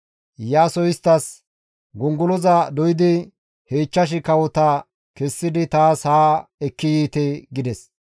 Iyaasoy isttas, «Gongoloza doydi he ichchash kawota kessidi taas haa ekki yiite» gides.